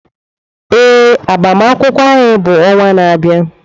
Ee, agbamakwụkwọ anyị bụ ọnwa na-abịa.